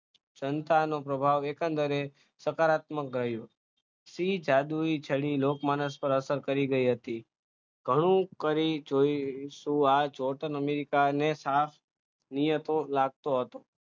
સંતાનો પ્રભાવ એકંદરે સકારાત્મક ભર્યું સી જાદુઈ ચડી લોકમાનસ પર અસર કરી ગઈ હતી ઘણું કરે જોયો જોઈશું અમેરિકાને લાગતો હતો